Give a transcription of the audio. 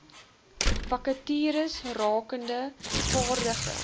vakatures rakende vaardige